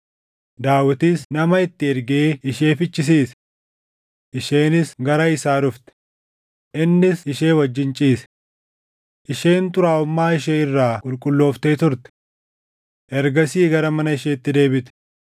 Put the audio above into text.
Daawitis nama itti ergee ishee fichisiise. Isheenis gara isaa dhufte; innis ishee wajjin ciise. Isheen xuraaʼummaa ishee irraa qulqullooftee turte. Ergasii gara mana isheetti deebite.